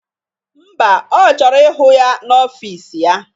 Ḿbà, Ọ chọrọ ịhụ ya n'ọfịs ya